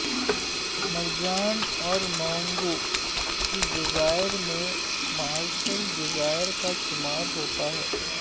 مرجان اور مونگوں کے جزائر میں مارشل جزائر کا شمار ہوتا ہے